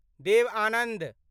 Dev Anand